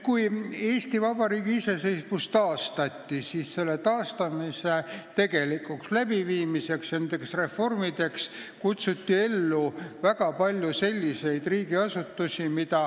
Kui Eesti Vabariigi iseseisvus taastati, siis selle taastamise tegelikuks läbiviimiseks ja reformide tegemiseks kutsuti ellu väga palju riigiasutusi.